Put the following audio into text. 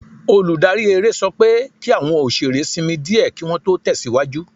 Olùdarí eré sọ pé kí àwọn òṣèré sinmi díẹ̀ kí Wọ́n tó tẹ̀síwájú